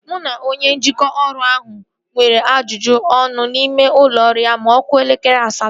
Mụ na onye njikwa ụlọ ọrụ ahụ nwere ajụjụ ọnụ n'ime ụlọ ọrụ ya ma ọ kụọ elekere asatọ